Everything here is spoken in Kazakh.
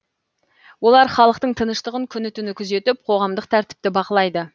олар халықтың тыныштығын күні түні күзетіп қоғамдық тәртіпті бақылайды